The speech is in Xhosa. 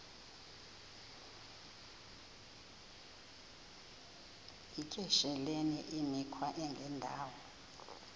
yityesheleni imikhwa engendawo